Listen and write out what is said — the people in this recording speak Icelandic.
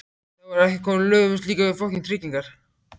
Þá voru ekki komin lög um slíkar tryggingar.